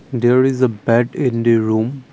there is a bad in the room.